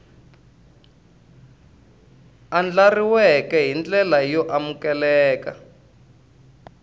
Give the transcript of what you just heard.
andlariweke hi ndlela yo amukeleka